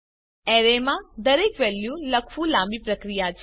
array માં દરેક value લખવું લાંબી પ્રક્રિયા છે